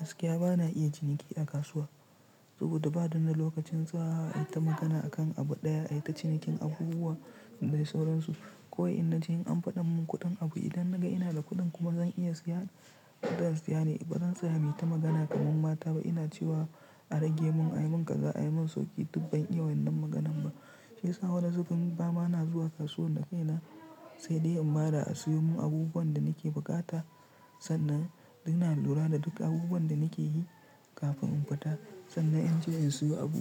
Gaskiya bana iya ciniki a kasuwa saboda bani da lokacin tsayawa ai ta magana akan abu ɗaya ai ta cinikin abubuwa da sauransu. Kawai in na ji in an faɗa min kuɗin abu idan naga ina da kuɗin kuma zan iya siya kuɗin siya ne bazan tsaya muyita magana kamar mata ba. Ina cewa a rage mun a yi mun kaza a yi mun sauki dubban iya wannan maganan ba. Shi yasa wani zubin ba ma na zuwa kasuwar da kai na sai dai in bada a siyo mun abubuwan da nake bukata sannan ina lura da duk abubuwan da nake yi kafin in fita. Sannan in je in siyo abu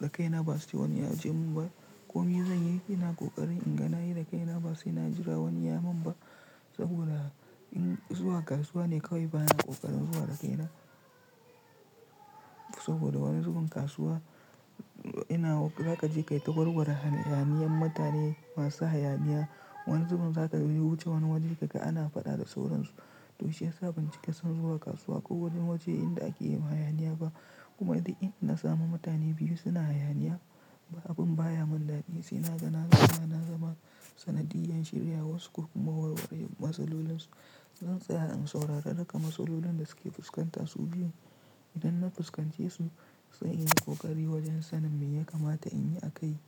da kaina ba sai wani ya je mun ba. Ko mai zan yi, ina ƙoƙari in ga na yi da kaina ba sai na jira wani ya mun ba saboda in zuwa kasuwa ne kawai bana ƙoƙarin zuwa da kaina. Saboda wani zubin kasuwa ina za ka je ka yi ta warware hayaniyan mutane masu hayaniya. Wani zubin za ka wuce wani waje kaga ana faɗa da sauransu. To shi yasa ban cika son zuwa kasuwa ko wani waje inda ake yin hayaniya ba. Kuma duk inda na samu mutane biyu suna hayaniya abin baya mun dadi sai na ga na zama sanadiyyan shiryawarsu ko kuma warware matsalolinsu. Zan tsaya in saurara duka matsalolin da suke fuskanta su biyu. Idan na fuskance su sai in yi ƙoƙari wajen sanin me ya kamata in yi a kai.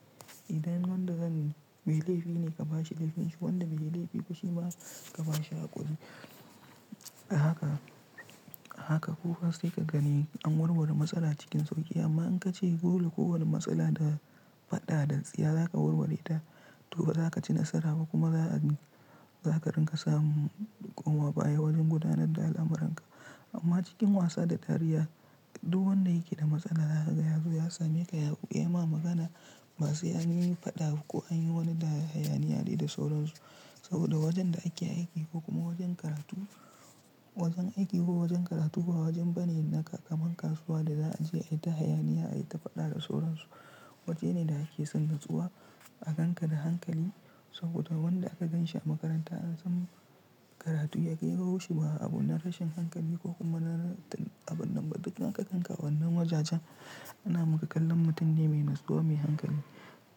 Idan wanda zan mai laifi ne ka bashi laifinshi wanda bai yi laifi kuma ka bashi hakuri. Haka haka kowa sai ka gani an warware matsala cikin sauƙi amma in ka ce dole kowane matsala da faɗa da tsiya za ka warware ta to ba za ka ci nasara ba kuma za'a, za ka ringa samun koma baya wajen gudanar da al'amuranka. Amma cikin wasa da dariya duk wanda yake da matsala zaka ga ya zo ya saneks ya ma magana ba sai an yi faɗa ko an yi wani hayaniya dai da sauransu. Saboda wajen da ake aiki ko kuma wajen karatu wajen aiki ko wajen karatu ba wajen bane na kaman kasuwa da za a je ai ta hayaniya ai ta faɗa da sauransu. Waje ne da ake son natsuwa a gan ka da hankali saboda wanda aka ganshi a makaranta an san karatu ya kawoshi ba abu na rashin hankali ko kuma abin nan ba duk aka kanka wannan wajajen ana maka kallon mutum ne mai natsuwa mai hankali.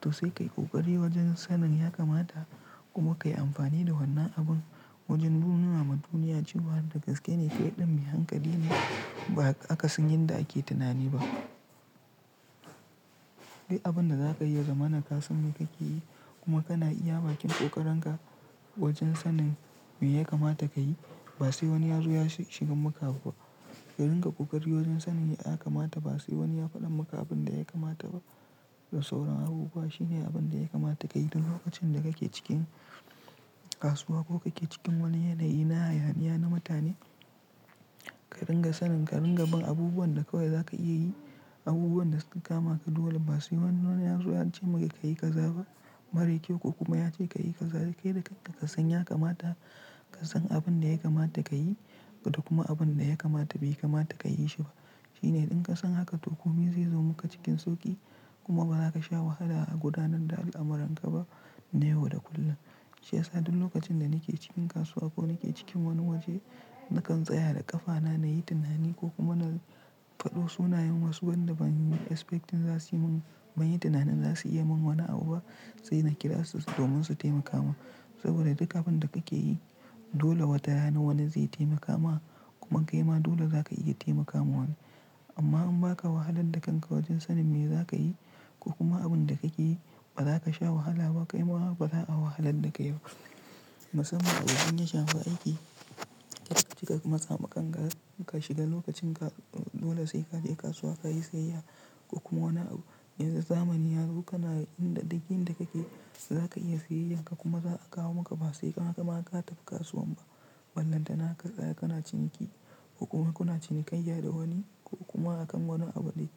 To sai ka yi ƙoƙari wajen sanin ya kamata kuma ka yi amfani da wannan abun wajen nunama duniya cewa da gaske ne kai ɗin mai hankali ne ba akasin yanda ake tunani ba. Duk abin da za ka iya zama na ka san me ka ke yi kuma kana iya bakin ƙoƙarinka wajen sanin me ya kamata ka yi ba sai wani ya zo ya shiga maka ba. Ka ringa ƙoƙari wajen sanin me ya kamata ba sai wani ya faɗa maka abin da ya kamata ba da sauran abubuwa shine abin da ya kamata ka yi. Duk lokacin da kake cikin kasuwa ko kake cikin wani yanayi na hayaniya na mutane ka ringa sanin ka ringa bin abubuwan da kawai za ka iya yi abubuwan da suka kama ka dole ba sai wani ya zo ya ce maka ka yi ka zaba mara kyau ko kuma ya ce ka yi kaza kai da kanka ka san yakamata ka san abin da ya kamata ka yi da kuma abin da ya kamata bai kamata ka yi shi ba. Shine in ka san haka to komai zai zo maka cikin sauƙi kuma ba za ka sha wahala a gudanar da al'amuranka ba na yau da kullum. Shi yasa duk lokacin da nake cikin kasuwa ko nake cikin wani waje nakan tsaya da ƙafana na yi tunani ko kuma na fado sunayen wasu wanda ban yi expecting za su yi mun bani tunanin za su iya mun wani abu ba sai na kira su domin su taimaka ma. Saboda duk abun da kake yi dole watarana wani zai taimaka ma kuma kai ma dole za ka iya taimaka ma wani. Amma in baka wahalar da kanka wajen sanin me za ka yi ko kuma abun da kake yi ba za ka sha wahala ba kai ma ba za a wahalar da ka yau ba. Musamman a wajen daya shafa aiki ka cika matsama kanka, ka shiga lokacin ka dole sai ka je kasuwa ka yi sayayya ko kuma wani abu, yanzu zamani ya zo kana inda duk inda kake za ka iya sayayyar ka kuma za a kawo maka ba sai ka ma ka tafi kasuwan ba. Ballanta ka tsaya kana ciniki ko kuma kuna cinikayya da wani ko kuma akan wani abu ɗaya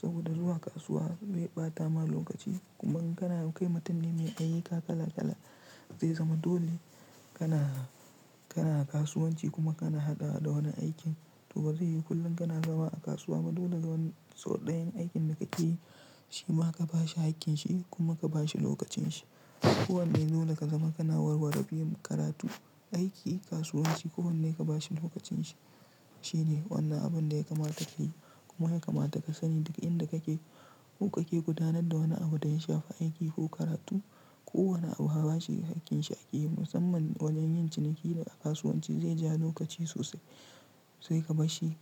saboda zuwa kasuwa zai ba ta ma lokaci kuma kana kai mutum ne mai ayyuka kala kala zai zama dole kana kana kasuwanci kuma kana haɗawa da wani aikin to bazai yi kullum kana zama a kasuwa ba. Dole dan sau ɗayan aikin da kake yi shi ma ka ba shi aikin shi kuma ka ba shi lokacin shi. To sai ka yi ƙoƙari wajen sanin ya kamata kuma ka yi amfani da wannan abun wajen nunama duniya cewa dagaske ne kai ɗan mai hankali ne ba aka sanyi da ake tunani ba. Ko wane abu ka ba shi hakkin shi ake yi musamman wajen yin ciniki da a kasuwanci zai ja lokaci sosai sai ka ba shi.